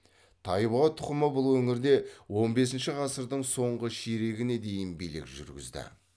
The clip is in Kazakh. тайбұға тұқымы бұл өңірде он бесінші ғасырдың соңғы ширегіне дейін билік жүргізді